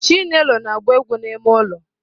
Chinelo na-agba egwu n'ime ụlọ.